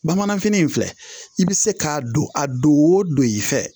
Bamananfini in filɛ i bɛ se k'a don a don o don i fɛ